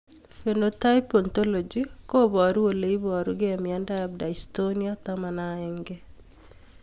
Phenotype ontology koparu ole iparukei miondop Dystonia 11